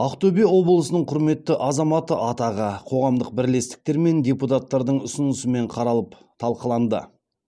ақтөбе облысының құрметті азаматы атағы қоғамдық бірлестіктер мен депутаттардың ұсынысымен қаралып талқыланды